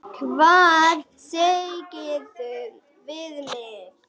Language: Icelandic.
Hvað segirðu við mig?